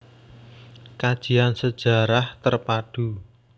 Kajian Sejarah Terpadu